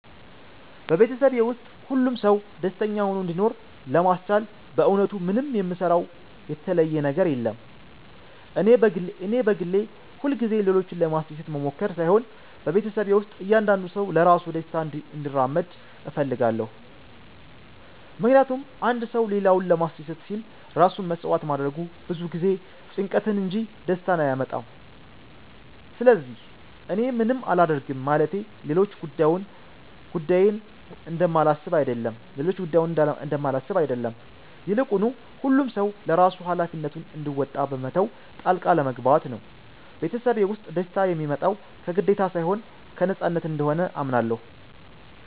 በቤተሰቤ ውስጥ ሁሉም ሰው ደስተኛ ሆኖ እንዲኖር ለማስቻል በእውነቱ ምንም የምሰራው የተለየ ነገር የለም። እኔ በግሌ ሁልጊዜ ሌሎችን ለማስደሰት መሞከር ሳይሆን በቤተሰቤ ውስጥ እያንዳንዱ ሰው ለራሱ ደስታ እንዲራመድ እፈልጋለሁ። ምክንያቱም አንድ ሰው ሌላውን ለማስደሰት ሲል ራሱን መሥዋዕት ማድረጉ ብዙ ጊዜ ጭንቀትን እንጂ ደስታን አያመጣም። ስለዚህ እኔ ምንም አላደርግም ማለቴ ሌሎች ጉዳዬን እንደማላስብ አይደለም፤ ይልቁኑ ሁሉም ሰው ለራሱ ሃላፊነቱን እንዲወጣ በመተው ጣልቃ አለመግባት ነው። ቤተሰቤ ውስጥ ደስታ የሚመጣው ከግዴታ ሳይሆን ከነፃነት እንደሆነ አምናለሁ።